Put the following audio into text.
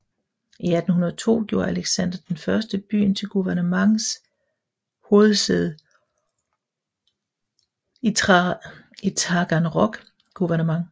I 1802 gjorde Alexander I byen til guvernements hovedsæde i Taganrog guvernement